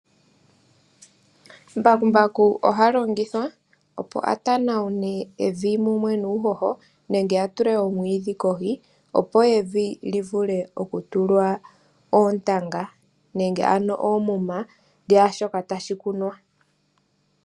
Mbakumbaku oha longithwa opo a tanawune evi mumwe nuuhoho nenge atule omwiidhi kohi opo evi livule oku tulwa oontanga nenge ano oomuna dhaashoka tashi kunwa.